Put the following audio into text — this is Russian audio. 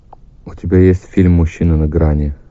у тебя есть фильм мужчина на грани